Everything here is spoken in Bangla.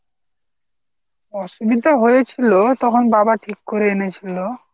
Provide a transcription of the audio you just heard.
অসুবিধা হয়েছিল তখন বাবা ঠিক করে এনেছিল।